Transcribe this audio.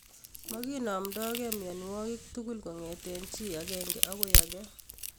Makinamdoinge mionwek tugul kongete chi agenge agoi age